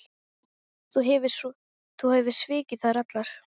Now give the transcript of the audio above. Þú hefur svikið þær allar.